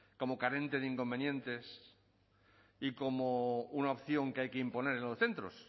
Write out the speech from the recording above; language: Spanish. como carente de inconvenientes y como una opción que hay que imponer en los centros